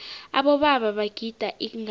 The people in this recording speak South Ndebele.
abobaba bagida ingadla